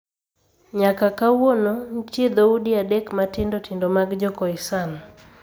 Nyaka kawuono, nitie dhoudi adek matindo tindo mag Jo-Khoisan.